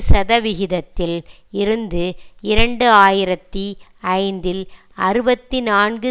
சதவிகிதத்தில் இருந்து இரண்டு ஆயிரத்தி ஐந்தில் அறுபத்தி நான்கு